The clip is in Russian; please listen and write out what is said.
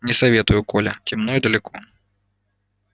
не советую коля темно и далеко